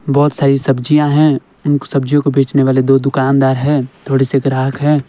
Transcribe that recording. बहुत सारी सब्जियां हैं उन सब्जियों को बेचने वाले दो दुकानदार हैं थोड़े से ग्राहक हैं।